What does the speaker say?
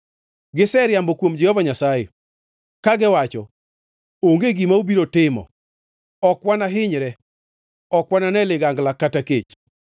Giseriambo kuom Jehova Nyasaye; kagiwacho, “Onge gima obiro timo! Ok wanahinyre; ok wanane ligangla kata kech.